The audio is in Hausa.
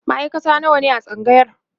maaikata nawa ne a tsangayar?